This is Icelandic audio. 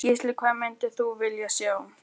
Gísli: Hvað myndir þú vilja sjá?